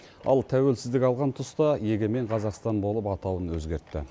ал тәуелсіздік алған тұста егемен қазақстан болып атауын өзгертті